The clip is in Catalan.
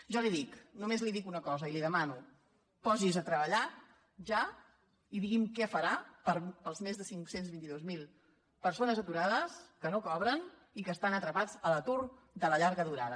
jo li dic només li dic una cosa i li demano posi’s a treballar ja i digui’m què farà per les més de cinc cents i vint dos mil persones aturades que no cobren i que estan atrapades a l’atur de la llarga durada